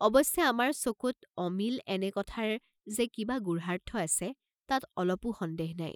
অৱশ্যে আমাৰ চকুত অমিল এনে কথাৰ যে কিবা গুঢ়াৰ্থ আছে তাত অলপো সন্দেহ নাই।